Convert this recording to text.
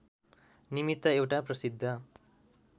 निमित्त एउटा प्रसिद्ध